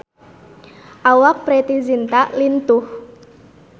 Awak Preity Zinta lintuh